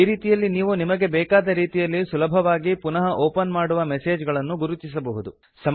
ಈ ರೀತಿಯಲ್ಲಿ ನೀವು ನಿಮಗೆ ಬೆಕಾದ ರೀತಿಯಲ್ಲಿ ಸುಲಭವಾಗಿ ಪುನಃ ಓಪನ್ ಮಾಡುವ ಮೆಸೇಜ್ ಗಳನ್ನು ಗುರುತಿಸಬಹುದು